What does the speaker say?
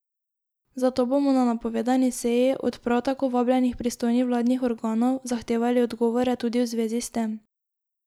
Zato bomo na napovedani seji, od prav tako vabljenih pristojnih vladnih organov, zahtevali odgovore tudi v zvezi s tem.